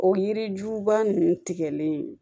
O yiri juba ninnu tigɛlen